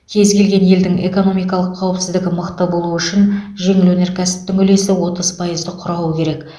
кез келген елдің экономикалық қауіпсіздігі мықты болу үшін жеңіл өнеркәсіптің үлесі отыз пайызды құрауы керек